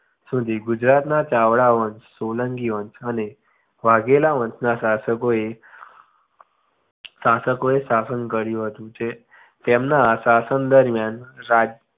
સુધી ગુજરાતના ચાવડા વંશ સોલંકી વંશ અને વાઘેલા વંશના શાસકો એ શાસકો એ શાસન કર્યું હતું જે તેમના શાસન દરમ્યાન રાજ્ય